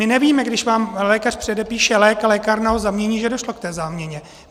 My nevíme, když vám lékař předepíše lék a lékárna ho zamění, že došlo k té záměně.